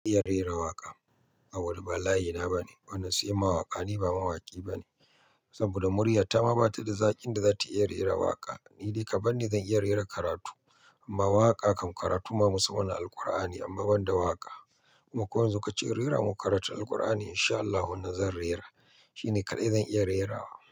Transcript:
Zan iya rera waƙa. A wuri ba layi na bane, wannan sai mawaƙa ni ba mawaƙi bane saboda murya ta ma ba ta da zaƙin da za ta iya rera waƙa. Ni dai ka bani da iya rera karatu, amma waƙa kam karatu ma musamman na Alqur'ani amma ban da waƙa. Kuma ko yan zu kace in rera maka karatun Alkur'ani in sha Allahu nan zan rera. Shi ne kaɗai zan iya rerawa.